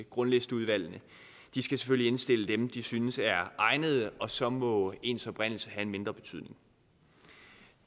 grundlisteudvalgene skal selvfølgelig indstille dem de synes er egnede og så må ens oprindelse have en mindre betydning